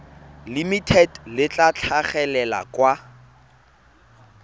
limited le tla tlhagelela kwa